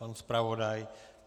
Pan zpravodaj?